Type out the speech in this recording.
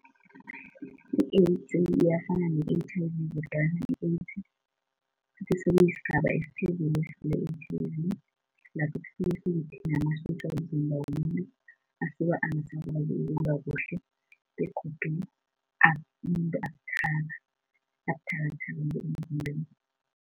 I-AIDS iyafana ne-H_I_V kodwana i-AIDS sekuyisigaba esiphezulu esidlula i-H_I_V. Lapho sekuthinta namasotja womzimba womuntu asuke angazizwa ukulwa kuhle begodu umuntu abuthaka, abuthathaka nemzimbeni.